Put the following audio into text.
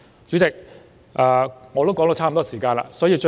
主席，我的發言時間差不多到此。